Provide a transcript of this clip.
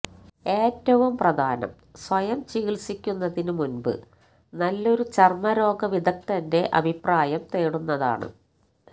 ഏറ്റവും പ്രധാനം സ്വയം ചികിത്സിക്കുന്നതിന് മുമ്പ് നല്ലൊരു ചർമരോഗ വിദഗ്ധന്റെ അഭിപ്രായം തേടുന്നതാണ്